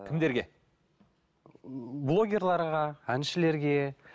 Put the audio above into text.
кімдерге блогерлерге әншілерге